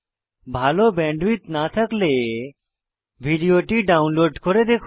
ভাল ব্যান্ডউইডথ না থাকলে ভিডিওটি ডাউনলোড করে দেখুন